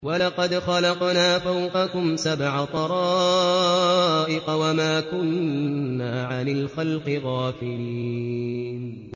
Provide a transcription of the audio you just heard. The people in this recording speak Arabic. وَلَقَدْ خَلَقْنَا فَوْقَكُمْ سَبْعَ طَرَائِقَ وَمَا كُنَّا عَنِ الْخَلْقِ غَافِلِينَ